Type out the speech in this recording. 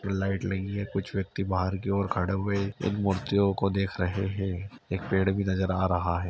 Light लगी है कुछ व्यक्ति बाहर की और खड़े हुए इन मूर्तियों को देख रहे हैं। एक पेड़ भी नजर आ रहा है।